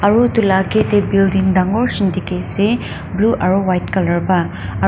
aru etu lah age teh building dangor seen dikhi ase blue aru white colour pa.